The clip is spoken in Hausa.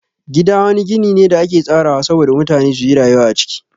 Gida wani gini ne da ake tsarawa sabo da mutane suyi rayuwa a ciki.